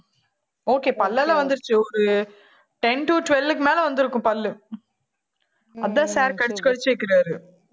okay பல்லெல்லாம் வந்துருச்சு ஒரு ten to twelve க்கு மேல வந்திருக்கும் பல்லு அதான் sir கடிச்சு கடிச்சு வைக்கிறாரு